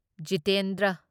Jitendra